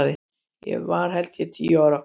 Ég var held ég tíu ára.